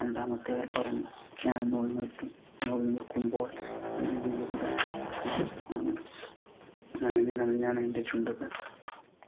രണ്ടാമത്തെയാൾ പറഞ്ഞു, ഞാൻ നൂൽ നൂൽക്കു നൂൽ നൂൽക്കുമ്പോൾ ഉമിനീര് തട്ടി നനഞ്ഞു നഞ്ഞാണ് എൻ്റെ ചുണ്ടുകൾ